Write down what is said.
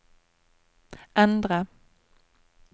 endre